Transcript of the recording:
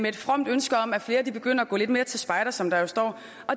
et fromt ønske om at flere begynder at gå lidt mere til spejder som der står